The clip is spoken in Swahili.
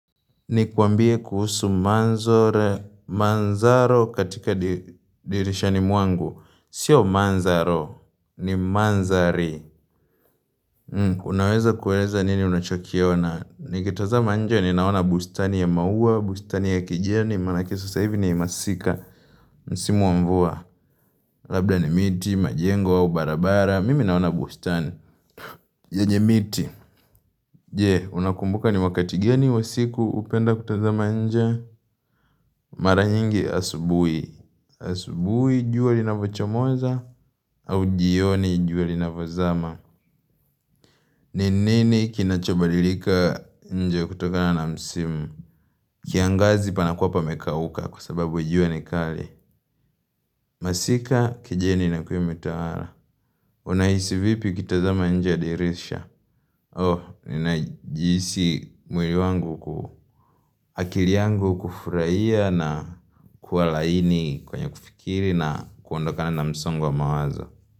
Ni kwambie kuhusu manzore manzaro katika dirishani mwangu Sio manzaro ni manzari Unaweza kuweza nini unachokiona Nikitazama nje ninaona bustani ya maua, bustani ya kijeni, manake sasa hivi ni masika Msimu wa mvua, labda ni miti, majengo, au barabara, mimi naona bustani yenye miti. Je, unakumbuka ni wakati gani wa usiku upenda kutaza nje Mara nyingi asubuhi. Asubuhi jua linapochomoza au jioni jua linapozama ni nini kinachobalilika nje kutokana na msimu kiangazi panakuwa pamekauka kwa sababu jua ni kali masika kijeni na kuyu mitara. Unahisi vipi ukitazama nje ya dirisha Oh, ninajihisi mwili wangu ku akili yangu kufurahia na kuwa laini kwenye kufikiri na kuondokana na msongo wa mawazo.